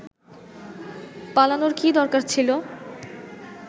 পালানোর কী দরকার ছিল